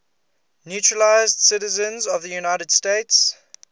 naturalized citizens of the united states